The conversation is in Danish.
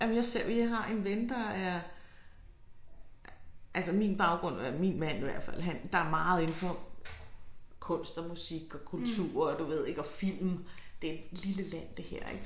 Jamen jeg ser jeg har en ven der er altså min baggrund eller min mand i hvert fald han der er meget inde for kunst og musik og kultur og du ved ik og film det en lille land det her ik